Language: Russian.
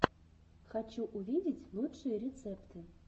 хочу увидеть лучшие рецепты